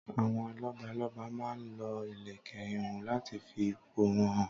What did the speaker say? Àwọn lọ́balọ́ba máa ń lo ìlèkẹ̀ ihùn láti fi ipò wọ́n hàn.